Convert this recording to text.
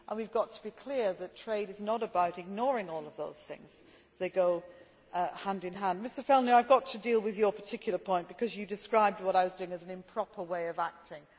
We have got to be clear that trade is not about ignoring all of those things. They go hand in hand. Mr Fjellner, I have got to deal with your particular point, because you described what I was doing as an improper way of acting.